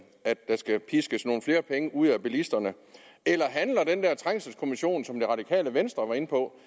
der skal piskes nogle flere penge ud af bilisterne eller handler den der trængselskommission sådan som det radikale venstre var inde på